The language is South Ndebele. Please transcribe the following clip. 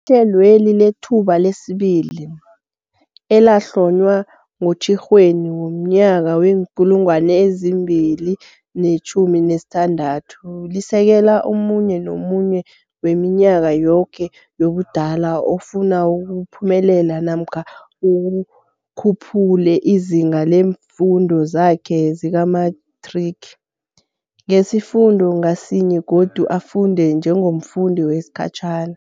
Ihlelweli leThuba lesiBili, elahlonywa ngoTjhirhweni womnyaka wee-2016, lisekela omunye nomunye weminyaka yoke yobudala ofuna ukuphumelela namkha akhuphule izinga leemfundo zakhe zikamethrigi, ngesifundo ngasinye godu afunde njengomfundi wesikhatjhana.